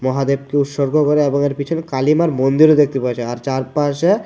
মহাদেবকে উৎস্বর্গ করে এবং এর পিছনে কালিমার মন্দিরও দেখতে পারছি আর চারপাশে--